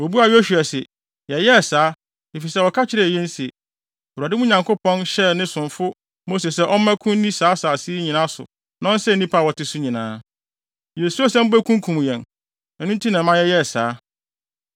Wobuaa Yosua se, “Yɛyɛɛ saa, efisɛ wɔka kyerɛɛ yɛn se, Awurade, mo Nyankopɔn hyɛɛ ne somfo Mose sɛ ɔmmɛko nni saa asase yi nyinaa so na ɔnsɛe nnipa a wɔte so nyinaa. Yesuroo sɛ mubekunkum yɛn. Ɛno nti na ɛma yɛyɛɛ saa.